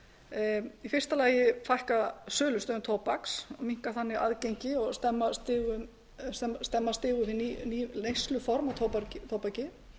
gang í fyrsta lagi fækka sölustöðum tóbaks minnka þannig aðgengi og stemma stigu við ný neysluform á tóbaki